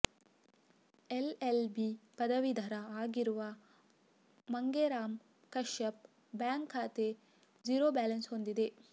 LLB ಪದವಿಧರ ಆಗಿರುವ Mangeram Kashyap bank ಖಾತೆ ಜೀರೋ ಬ್ಯಾಲೆನ್ಸ್ ಹೊಂದಿದೆ